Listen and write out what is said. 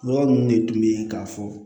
Yɔrɔ ninnu de tun bɛ yen k'a fɔ